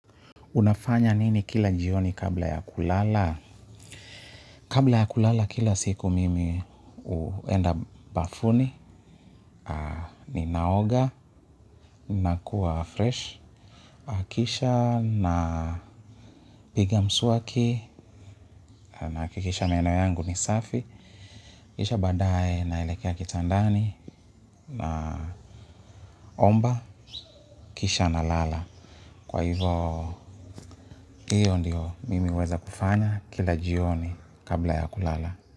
Unafanya nini kila jioni kabla ya kulala? Kabla ya kulala kila siku mimi uenda bafuni ni naoga na kuwa fresh. Akisha napiga msuaki naakikisha meno yangu ni safi. Kisha baadaye naelekea kitandani naomba kisha nalala. Kwa hivo hiyo ndiyo mimi uweza kufanya kila jioni kabla ya kulala.